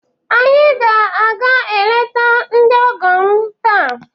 Anyị ga-aga eleta ndị ọgọ m taa